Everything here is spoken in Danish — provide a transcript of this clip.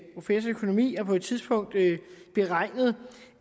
professor i økonomi har på et tidspunkt beregnet